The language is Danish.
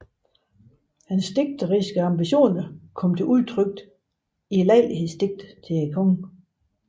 Hans digteriske ambitioner kom til udtryk i lejlighedsdigte til kongen